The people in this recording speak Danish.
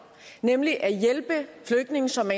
nemlig til at hjælpe flygtninge som